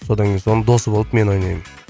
содан кейін соның досы болып мен ойнаймын